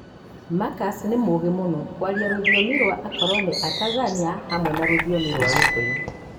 Marcus nĩ mũũgĩ mũno kwaria rũthiomi rwa akoroni a Tanzania, hamwe na rũthiomi rwa Gikũyũ.